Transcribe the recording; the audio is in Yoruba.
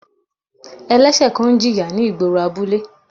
Ẹlẹ́sẹ̀ kan ń jìyà ni igboro abule.